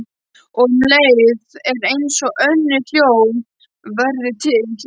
Og um leið er einsog önnur hljóð verði til.